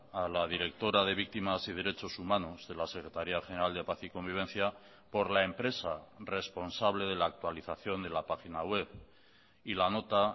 a la directora de víctimas y derechos humanos de la secretaría general de paz y convivencia por la empresa responsable de la actualización de la página web y la nota